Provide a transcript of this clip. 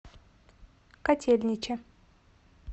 котельниче